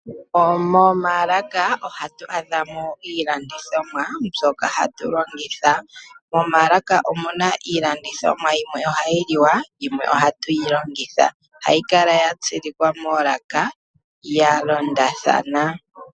Momaalaka ohatu adhamo iilandithomwa mbyoka hatu longitha. Momaalaka omuna iilandithomwa yimwe ohayi liwa yimwe ohatu yilongitha. Ohayi kala yatsilikwa moolaka yalondathana.